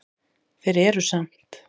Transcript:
Þeir eru samt